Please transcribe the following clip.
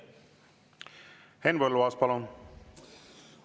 Henn Põlluaas, palun!